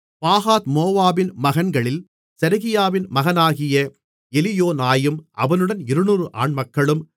பாகாத்மோவாபின் மகன்களில் செரகியாவின் மகனாகிய எலியோனாயும் அவனுடன் 200 ஆண்மக்களும்